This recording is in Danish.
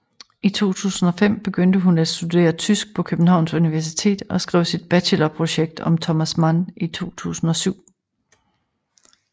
I 2005 begyndte hun at studere tysk på Københavns Universitet og skrev sit bachelorprojekt om Thomas Mann i 2007